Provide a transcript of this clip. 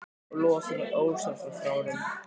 Og losaði mig ósjálfrátt frá honum.